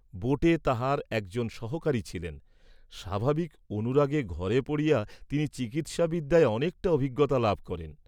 বােটে তাঁহার এক জন সহকারী ছিলেন, স্বাভাবিক অনুরাগে ঘরে পড়িয়া তিনি চিকিৎসা বিদ্যায় অনেকটা অভিজ্ঞতা লাভ করেন।